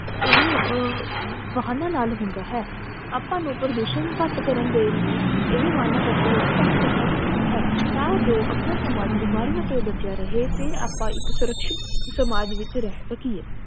ਇਹ ਅਹ ਵਾਹਨਾਂ ਨਾਲ ਹੁੰਦਾ ਹੈ ਆਪਾ ਨੂੰ ਪ੍ਰਦੂਸ਼ਨ ਘਟ ਕਰਨ ਦੇ ਲਈ ਇਹ ਵਾਹਨਾਂ ਦਾ ਪ੍ਰਯੋਗ ਘਟ ਕਰਨਾ ਚਾਹੀਦਾ ਹੈ ਤਾਂ ਜੋ ਆਪਣਾ ਸਮਾਜ ਬੀਮਾਰੀਆਂ ਤੋਂ ਬੱਚਿਆਂ ਰਹੇ ਤੇ ਆਪਾਂ ਇਕ ਸੂਰਕ੍ਸ਼ਿਤ ਸਮਾਜ ਵਿਚ ਰਹ ਸਕੀਏ